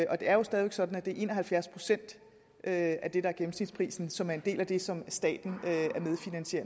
og det er jo stadig væk sådan at det er en og halvfjerds procent af det der er gennemsnitsprisen som er en del af det som staten